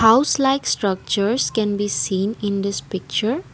house likes structures can be seen in this picture.